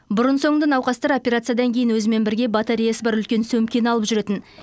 бұрын соңды науқастар операциядан кейін өзімен бірге батареясы бар үлкен сөмкені алып жүретін